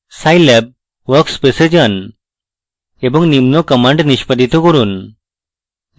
scilab workspace এ যান এবং নিম্ন commands নিষ্পাদিত করুন